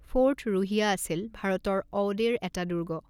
Fort Ruhiya আছিল ভাৰতৰ অউডেৰ এটা দুৰ্গ।